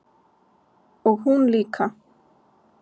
Og hún líka.